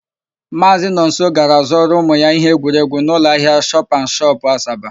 Maazị Nonso gara zụọrọ ụmụ ya íhé egwuregwu n'ụlọahịa shọpanshọp, Asaba.